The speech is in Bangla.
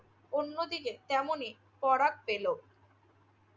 অন্যদিকে তেমনি করাক পেল